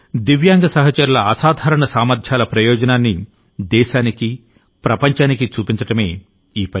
దివ్యాంగ సహచరుల అసాధారణ సామర్థ్యాల ప్రయోజనాన్ని దేశానికి ప్రపంచానికి చూపించడమే ఈ పని